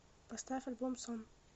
поставь альбом сон